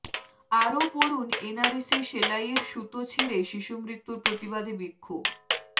আরও পড়ুন এনআরএসে সেলাইয়ের সুতো ছিঁড়ে শিশুমৃত্যুর প্রতিবাদে বিক্ষোভ